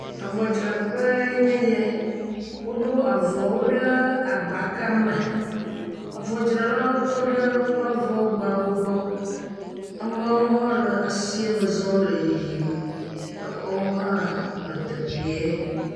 Avɔdzraƒe ye nye ya, woɖo avɔwo ɖe agbka me, avɔdzralawo tɔ ɖe woƒe avɔ gbawo gbɔ, amewo hã le asie me zɔm le yiyim, exɔwo hã le teƒee.